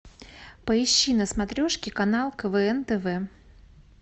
поищи на смотрешке канал квн тв